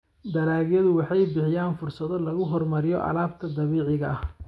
Dalagyadu waxay bixiyaan fursado lagu horumariyo alaabta dabiiciga ah.